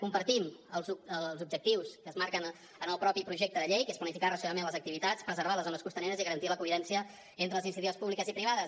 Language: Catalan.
compartim els objectius que es marquen en el mateix projecte de llei que és planificar racionalment les activitats preservar les zones costaneres i garantir la convivència entre les iniciatives públiques i privades